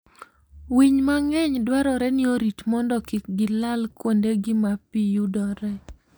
Winy mang'eny dwarore ni orit mondo kik gilal kuondegi ma pi yudoree.